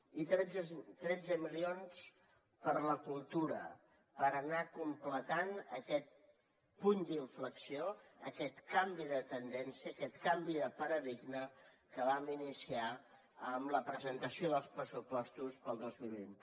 i tretze milions per a la cultura per anar completant aquest punt d’inflexió aquest canvi de tendència aquest canvi de paradigma que vam iniciar amb la presentació dels pressupostos per al dos mil vint